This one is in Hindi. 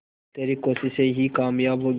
तेरी कोशिशें ही कामयाब होंगी